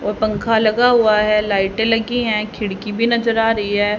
और पंखा लगा हुआ है लाइटें लगी हैं खिड़की भी नजर आ रही है।